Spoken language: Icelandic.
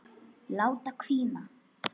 Láta hvína.